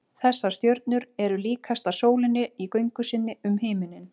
þessar stjörnur eru líkastar sólinni í göngu sinni um himininn